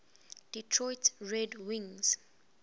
detroit red wings